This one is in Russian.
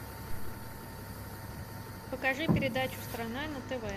покажи передачу страна на тв